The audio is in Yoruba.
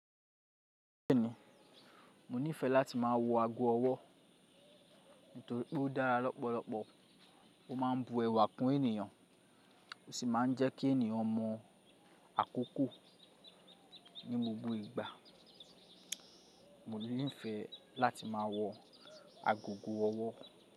Bẹ́ẹ̀ni, mo nífẹẹ láti máa wọ ago ọwọ́ nítorí pé ó dára lọ́pọ̀lọpọ̀, ó máa ń bu ẹwà kún ènìyàn, ó sì máa ń jẹ́ kí ènìyàn mọ̀ àkókò ní gbogbo ìgbà. Mo nífẹẹ láti máa wọ agogo ọwọ́.